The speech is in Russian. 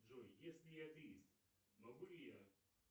джой если я атеист могу ли я